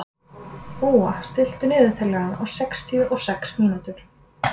Úa, stilltu niðurteljara á sextíu og sex mínútur.